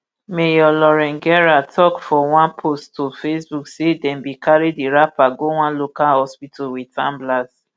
mayor lauren garrett tok for one post to facebook say dem bin carry di rapper go one local hospital wit ambulance